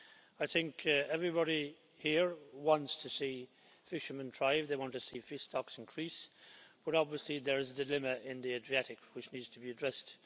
I think everybody here wants to see fishermen thrive, they want to see fish stocks increase, but obviously there is a dilemma in the Adriatic which needs to be addressed.